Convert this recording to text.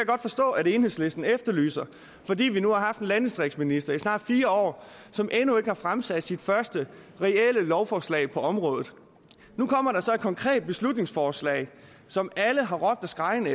godt forstå enhedslisten efterlyser fordi vi nu har haft en landdistriktsminister i snart fire år som endnu ikke har fremsat sit første reelle lovforslag på området nu kommer der så et konkret beslutningsforslag som alle har råbt og skreget